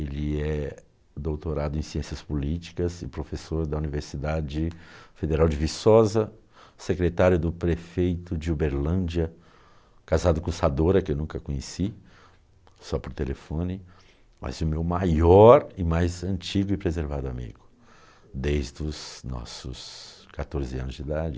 Ele é doutorado em ciências políticas e professor da Universidade Federal de Viçosa, secretário do prefeito de Uberlândia, casado com Sadora, que eu nunca conheci, só por telefone, mas o meu maior e mais antigo e preservado amigo, desde os nossos quatorze anos de idade.